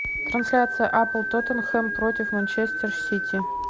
трансляция апл тоттенхэм против манчестер сити